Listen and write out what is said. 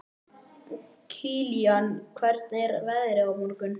Kilían, hvernig er veðrið á morgun?